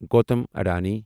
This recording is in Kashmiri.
گوتم ادانی